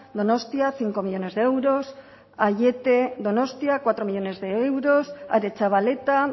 donostia cinco millónes de euros aiete donostia cuatro millónes de euros aretxabaleta